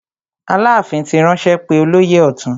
Aláàfin ti ránṣẹ́ pé olóyè ọ̀tún.